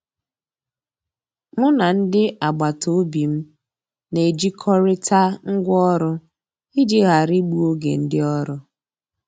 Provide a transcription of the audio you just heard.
Mụ na ndị agbataobi m na-ejikọrịta ngwa ọrụ iji ghara igbu oge ndị ọrụ